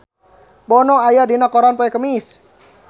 Bono aya dina koran poe Kemis